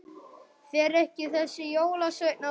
Fer ekki þessi jólasveinn að koma?